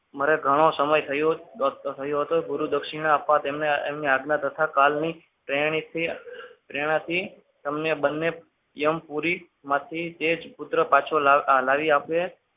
મરી ઘણો સમય થયો હતો ગુરુદક્ષિણે આપવા તેમને આજ્ઞા તથા કાલની શ્રેણીથી પ્રેરણાથી તમને બંને યમપુરી માંથી તે જ પુત્ર પાછો લાવી આપશે.